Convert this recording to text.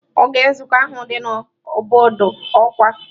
Oge nzukọ ahụ dị na bọọdụ ọkwa.